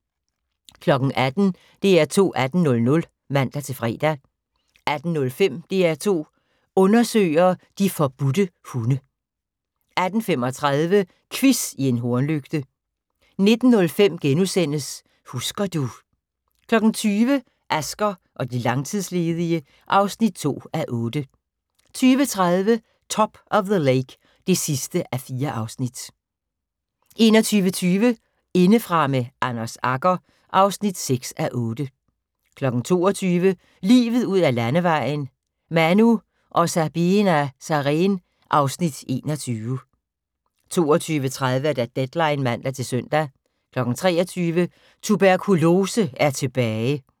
18:00: DR2 18.00 (man-fre) 18:05: DR2 Undersøger: De forbudte hunde 18:35: Quiz i en hornlygte 19:05: Husker du ...* 20:00: Asger og de langtidsledige (2:8) 20:30: Top of the Lake (4:4) 21:20: Indefra med Anders Agger (6:8) 22:00: Livet ud ad landevejen: : Manu og Sabeena Sareen (Afs. 21) 22:30: Deadline (man-søn) 23:00: Tuberkolose er tilbage!